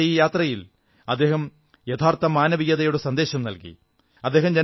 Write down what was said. അദ്ദേഹത്തിന്റെ ഈ യാത്രയിൽ അദ്ദേഹം യഥാർഥ മാനവികതയുടെ സന്ദേശം നല്കി